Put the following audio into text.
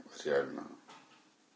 реально